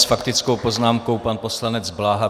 S faktickou poznámkou pan poslanec Bláha.